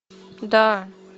да